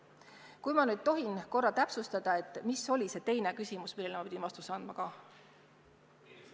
Vabandust, kas ma tohin paluda täpsustada, mis oli teie teine küsimus, millele ma pidin vastuse andma?